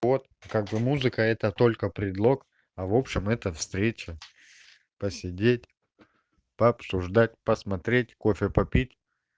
вот как бы музыка это только предлог а в общем это встреча посидеть пообсуждать посмотреть кофе попить